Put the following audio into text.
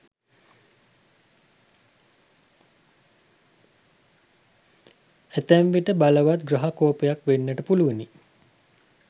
ඇතැම් විට බලවත් ග්‍රහ කෝපයක් වෙන්නට පුළුවනි.